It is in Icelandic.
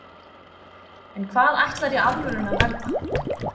en hvað ætlarðu í alvörunni að verða?